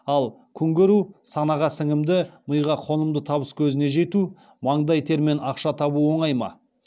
ал күнкөру санаға сіңімді миға қонымды табыскөзіне жету маңдай термен ақша табу оңай ма